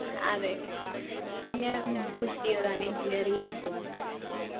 അതെ പിന്നെ push ചെയ്തതാണ് engineering എടുത്തോന്ന് പറഞ്ഞിട്ട്